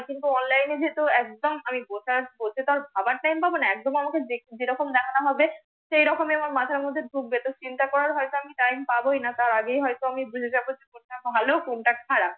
কিন্তু ONLINE এ যেহেতু একদম আমি ভাবার TIME পাবনা। একদম আমাকে যেরকম দেখানো হবে সে রকমই আমার মাথার মধ্যে ঢুকবে তো চিন্তা করার হয়তো আমি TIME পাবয়না তার আগেই হয়তো আমি বুঝেই যাব যে কোনটা ভালো কোনটা খারাপ,